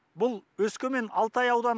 бұл өскемен алтай ауданы